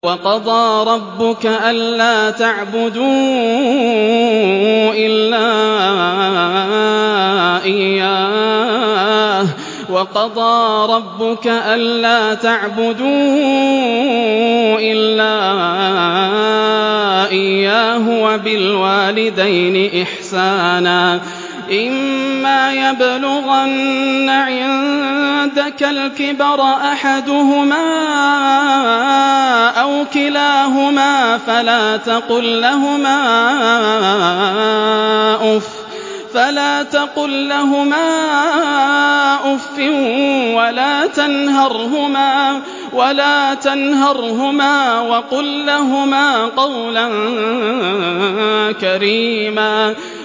۞ وَقَضَىٰ رَبُّكَ أَلَّا تَعْبُدُوا إِلَّا إِيَّاهُ وَبِالْوَالِدَيْنِ إِحْسَانًا ۚ إِمَّا يَبْلُغَنَّ عِندَكَ الْكِبَرَ أَحَدُهُمَا أَوْ كِلَاهُمَا فَلَا تَقُل لَّهُمَا أُفٍّ وَلَا تَنْهَرْهُمَا وَقُل لَّهُمَا قَوْلًا كَرِيمًا